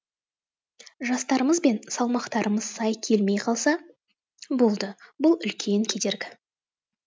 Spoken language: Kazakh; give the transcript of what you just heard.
жастарымыз бен салмақтарымыз сай келмей қалса болды бұл үлкен кедергі